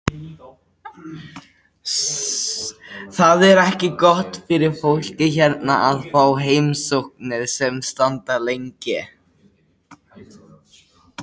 Það er ekki gott fyrir fólkið hérna að fá heimsóknir sem standa lengi.